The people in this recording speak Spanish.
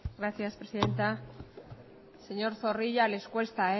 gracias presidenta señor zorrilla les cuesta